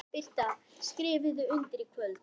Birta: Skrifið þið undir í kvöld?